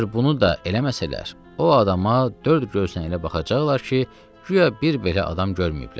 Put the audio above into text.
Əgər bunu da eləməsələr, o adama dörd gözlə elə baxacaqlar ki, guya bir belə adam görməyiblər.